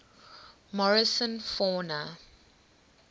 morrison fauna